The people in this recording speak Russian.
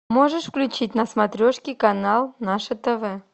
можешь включить на смотрешке канал наше тв